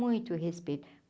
Muito respeito.